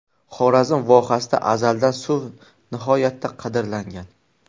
Xorazm vohasida azaldan suv nihoyatda qadrlangan.